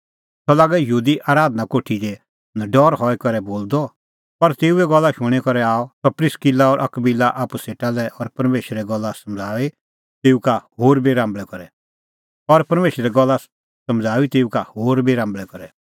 सह लागअ यहूदी आराधना कोठी दी नडरै हई करै बोलदअ पर तेऊए गल्ला शूणीं करै आणअ सह प्रिस्किला और अकबिला आप्पू सेटा लै और परमेशरे गल्ला समझ़ाऊई तेऊ का होर बी राम्बल़ै करै